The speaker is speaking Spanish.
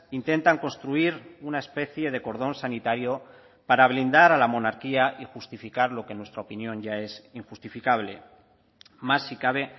intentan construir una especie de cordón sanitario para blindar a la monarquía y justificar lo que en nuestra opinión ya es injustificable más si cabe